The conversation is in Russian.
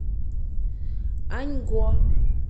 аньго